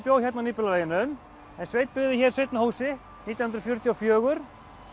bjó hérna á Nýbýlaveginum en Sveinn byggði hér seinna hús sitt nítján hundruð fjörutíu og fjögur